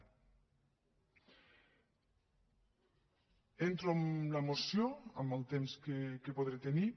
entro a la moció amb el temps que podré tenir